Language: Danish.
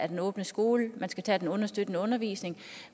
den åbne skole man skal tage fra den understøttende undervisning